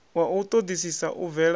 wa u ṱoḓisisa u bvela